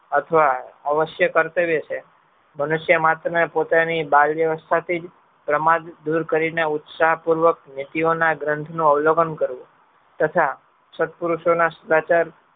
અથવા અવશ્ય કર્તવ્ય છે. પોતાની બાળવયવ્સ્થાથી જ દૂર કરીને ઉત્સાહપૂર્વક નીતિઓના ગ્રંથના સદાચાર વલોકન કરવું. તથા સદ્પુરુષોના